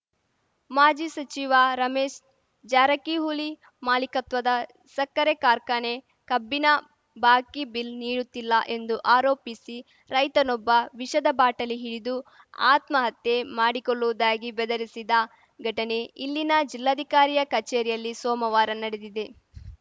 ಮಾಜಿ ಸಚಿವ ರಮೇಶ್‌ ಜಾರಕಿಹೊಳಿ ಮಾಲೀಕತ್ವದ ಸಕ್ಕರೆ ಕಾರ್ಖಾನೆ ಕಬ್ಬಿನ ಬಾಕಿ ಬಿಲ್‌ ನೀಡುತ್ತಿಲ್ಲ ಎಂದು ಆರೋಪಿಸಿ ರೈತನೊಬ್ಬ ವಿಷದ ಬಾಟಲಿ ಹಿಡಿದು ಆತ್ಮಹತ್ಯೆ ಮಾಡಿಕೊಳ್ಳುವುದಾಗಿ ಬೆದರಿಸಿದ ಘಟನೆ ಇಲ್ಲಿನ ಜಿಲ್ಲಾಧಿಕಾರಿಯ ಕಚೇರಿಯಲ್ಲಿ ಸೋಮವಾರ ನಡೆದಿದೆ